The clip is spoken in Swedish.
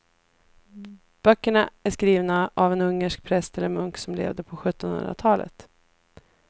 Böckerna är skrivna av en ungersk präst eller munk som levde på sjuttonhundratalet.